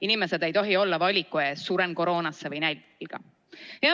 Inimesed ei tohi olla valiku ees, kas suren koroonasse või nälga.